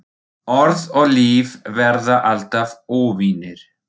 Orð og líf verða alltaf óvinir.